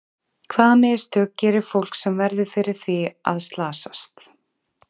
Hvaða mistök gerir fólk sem verður fyrir því að slasast?